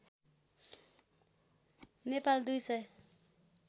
नेपालमा २ सय